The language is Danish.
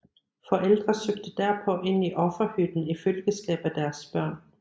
Forældre søgte derpå ind i offerhytten i følgeskab af deres børn